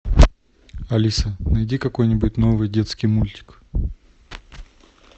алиса найди какой нибудь новый детский мультик